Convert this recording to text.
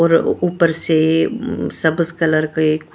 और ऊपर से ऊ सबस कलर का एक--